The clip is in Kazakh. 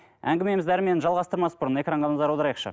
әңгімемізді әрмен жалғастырмас бұрын экранға назар аударайықшы